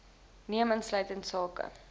neem insluitend sake